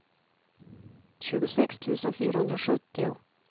tjugosex tusen fyrahundrasjuttio